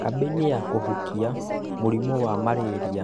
Kambĩini ya kũhukia mũrimũ wa Marĩria